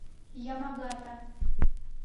ямагата